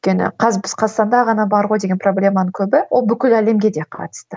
өйткені қазір біз қазақстанда ғана бар ғой деген проблеманың көбі ол бүкіл әлемге де қатысты